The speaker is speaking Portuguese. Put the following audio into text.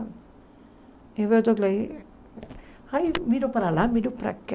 Aí eu estou aqui, ai, miro para lá, miro para cá,